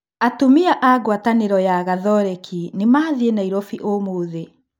Atumia a ngwatanĩro ya Gatholeki nĩ mathie Nairobi ũmũthĩ.